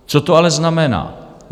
Co to ale znamená?